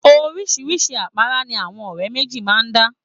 Oríṣiríṣi àpárá ni àwọn ọ̀rẹ́ méjì máa ń dá.